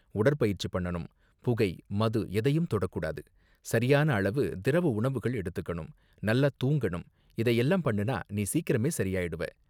உடற்பயிற்சி பண்ணனும், புகை, மது எதையும் தொடக் கூடாது, சரியான அளவு திரவ உணவுகள் எடுத்துக்கணும், நல்லா தூங்கணும், இதை எல்லாம் பண்ணுனா நீ சீக்கிரமே சரியாயிடுவ.